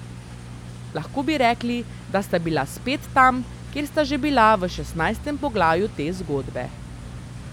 Lahko bi rekli, da sta bila spet tam, kjer sta že bila v šestnajstem poglavju te zgodbe.